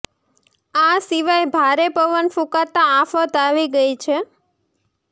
આ સિવાય ભારે પવન ફૂંકાતા આફત આવી ગઇ છે